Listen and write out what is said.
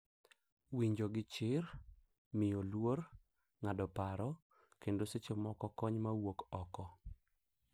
Winjo gi chir, miyo luor, ng’ado paro, kendo seche moko kony ma wuok oko.